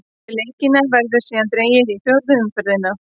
Eftir leikina verður síðan dregið í fjórðu umferðina.